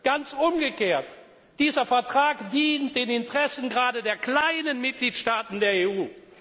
Ganz umgekehrt Dieser Vertrag dient den Interessen gerade der kleinen Mitgliedstaaten der